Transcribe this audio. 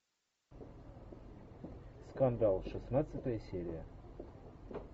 скандал шестнадцатая серия